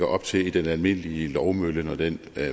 op til i den almindelige lovmølle når den